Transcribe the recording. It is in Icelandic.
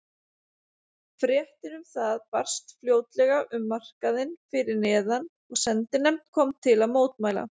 Fréttin um það barst fljótlega um markaðinn fyrir neðan og sendinefnd kom til að mótmæla.